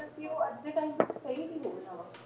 ਕਿ ਉਹ ਅੱਜ ਦੇ time ਵਿੱਚ ਸਹੀ ਵੀ ਹੋ ਰਿਹਾ ਵਾ।